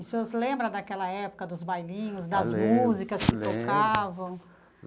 E o senhor se lembra daquela época dos bailinhos, das músicas que tocavam?